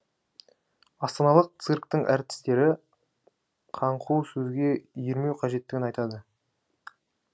астаналық цирктің әртістері қаңқу сөзге ермеу қажеттігін айтады